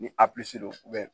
Ni do